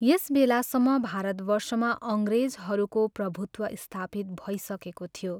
यस बेलासम्म भारतवर्षमा अङ्ग्रेजहरूको प्रभुत्व स्थापित भइसकेको थियो।